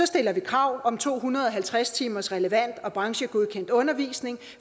stiller vi krav om to hundrede og halvtreds timers relevant og branchegodkendt undervisning